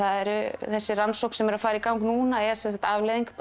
þessi rannsókn sem er að fara í gang núna er sem sagt afleiðing